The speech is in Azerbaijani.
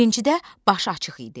Birincidə başı açıq idi.